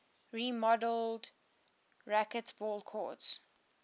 remodeled racquetball courts